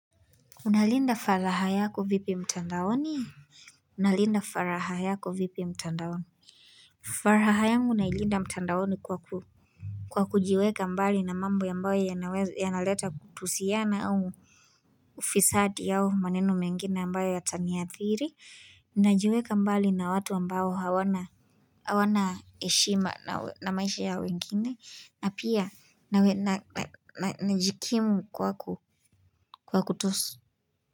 Unalinda faraha yako vipi mtandaoni Unalinda faraha yako vipi mtandaoni faraha yangu na ilinda mtandaoni kwaku Kwa kujiweka mbali na mambo ambayo yanaleta kutusiana au Ufisadi au maneno mengine ambayo ya taniathiri Naijweka mbali na watu ambao hawana heshima na maisha ya wengine na pia najikimu kwa kutosu.